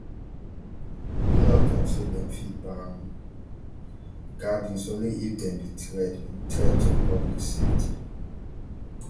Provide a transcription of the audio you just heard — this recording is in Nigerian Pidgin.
di law tok say dem fit ban gatherings only if dem be threat be threat to public safety